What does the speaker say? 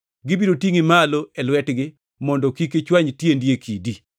gibiro tingʼi malo e lwetgi, mondo kik ichwany tiendi e kidi.’ + 4:11 \+xt Zab 91:11,12\+xt*”